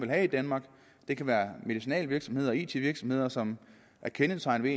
have i danmark det kan være medicinalvirksomheder og it virksomheder som er kendetegnet